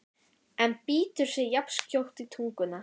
en bítur sig jafnskjótt í tunguna.